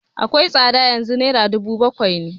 Akwai tsada yanzu, naira dubu bakwai ne